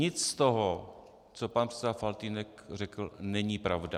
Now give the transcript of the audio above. Nic z toho, co pan předseda Faltýnek řekl, není pravda.